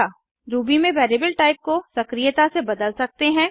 Ruby में variable type को सक्रियता से बदल सकते हैं